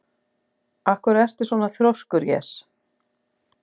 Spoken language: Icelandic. Af hverju ertu svona þrjóskur, Jes?